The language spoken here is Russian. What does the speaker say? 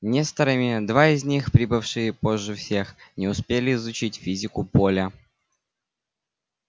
несторами два из них прибывшие позже всех не успели изучить физику поля